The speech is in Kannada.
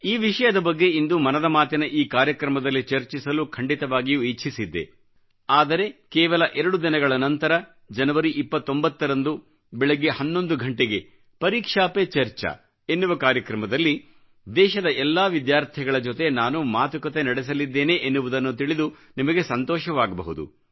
ಈ ವಿಷಯದ ಬಗ್ಗೆ ಇಂದು ಮನದ ಮಾತಿನ ಈ ಕಾರ್ಯಕ್ರಮದಲ್ಲಿ ಚರ್ಚಿಸಲು ಖಂಡಿತವಾಗಿಯೂ ಇಚ್ಚಿಸಿದ್ದೆ ಆದರೆ ಕೇವಲ 2 ದಿನಗಳ ನಂತರ ಜನವರಿ29 ರಂದು ಬೆಳಗ್ಗೆ 11 ಘಂಟೆಗೆಪರೀಕ್ಷಾ ಪೆ ಚರ್ಚಾ ಎನ್ನುವ ಕಾರ್ಯಕ್ರಮದಲ್ಲಿ ದೇಶದ ಎಲ್ಲಾ ವಿದ್ಯಾರ್ಥಿಗಳ ಜೊತೆ ನಾನು ಮಾತುಕತೆ ನಡೆಸಲಿದ್ದೇನೆ ಎನ್ನುವುದನ್ನು ತಿಳಿದು ನಿಮಗೆ ಸಂತೋಷವಾಗಬಹುದು